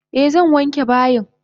Eh zan wanke bayin.